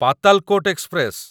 Patalkot express